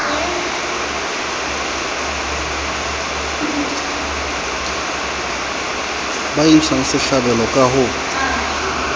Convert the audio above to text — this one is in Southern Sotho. ba intshang sehlabelo ka ho